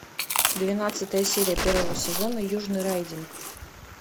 двенадцатая серия первого сезона южный райдинг